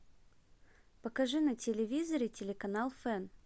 покажи на телевизоре телеканал фэн